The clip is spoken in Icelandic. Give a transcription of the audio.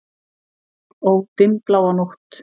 Ó, dimmbláa nótt!